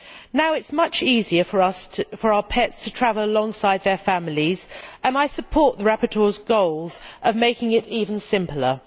Now it is much easier for our pets to travel alongside their families, and I support the rapporteur's goals of making it even simpler.